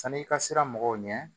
San'i ka sira mɔgɔw ɲɛ